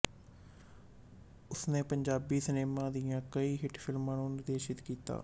ਉਸ ਨੇ ਪੰਜਾਬੀ ਸਿਨੇਮਾ ਦੀਆਂ ਕਈ ਹਿੱਟ ਫ਼ਿਲਮਾਂ ਨੂੰ ਨਿਰਦੇਸ਼ਿਤ ਕੀਤਾ